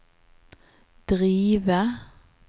drive